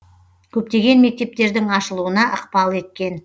көптеген мектептердің ашылуына ықпал еткен